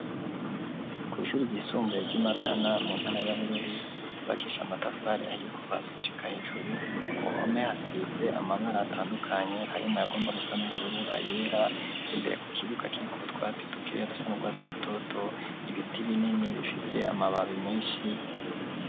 Kw'ishure ryisumbuye ry'i Matana mu ntara ya Bururi ryubakishije amatafari ahiye kuva hasi gushika hejuru, ku mame hasize amabara atandukanye harimwo ayagomba gusa n'ubururu, ayera imbere ku kibuga kiriko utwatsi tukeya duse n'urwatsi rutoto, ibiti binini bifise amababi menshi.